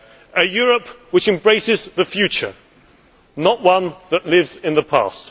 a Europe which embraces the future, not one that lives in the past